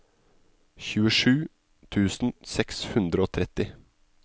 tjuesju tusen seks hundre og tretti